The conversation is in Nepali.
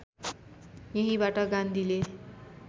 यहीँबाट गान्धीले